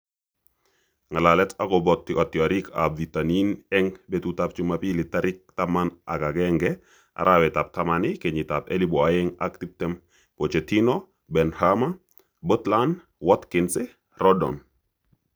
Ng'alalet akobo kitiorikab bitonin eng betutab Jumapili tarik taman ak agenge, arawetab taman, kenyitab elebu oeng ak tiptem: Pochettino, Benrahma, Butland, Watkins, Rodon